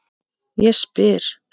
Ég spyr.